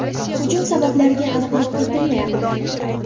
Hujum sabablariga aniqlik kiritilmayapti.